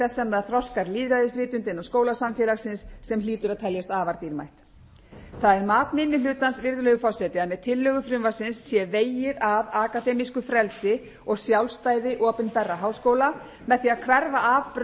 þess sem það þroskar lýðræðisvitund innan skólasamfélagsins sem hlýtur að teljast afar dýrmætt það er mat minni hlutans virðulegur forseti að með tillögu frumvarpsins sé vegið að akademísku frelsi og sjálfstæði opinberra háskóla með því að hverfa af braut jafningjastjórnunar sem hefur